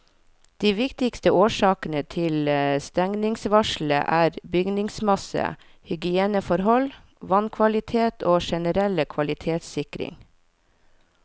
De viktigste årsakene til stengningsvarselet er bygningsmasse, hygieneforhold, vannkvalitet og generell kvalitetssikring.